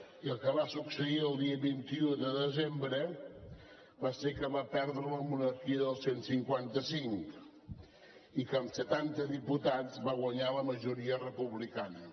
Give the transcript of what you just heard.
i el que va succeir el dia vint un de desembre va ser que va perdre la monarquia del cent i cinquanta cinc i que amb setanta diputats va guanyar la majoria republicana